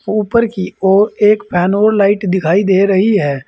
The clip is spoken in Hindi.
ऊपर की ओर एक फैन और लाइट दिखाई दे रही है।